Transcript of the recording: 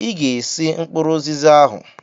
Ịga-esi mkpụrụ ụzịza ahụ!